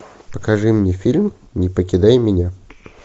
покажи мне фильм не покидай меня